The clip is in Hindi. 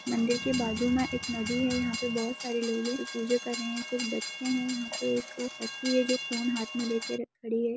मंदिर के बाजू में एक नदी है यहाँ पे बहुत सारे लोग है जो पूजा कर रहे हैं कुछ बच्चे हैं यहाँ पे एक लड़की है जो फोन हाथ में ले कर खड़ी हैं।